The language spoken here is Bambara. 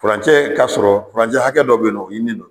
Furancɛ ka sɔrɔ, furancɛ hakɛ dɔ bɛ yen nɔ, o ɲininen don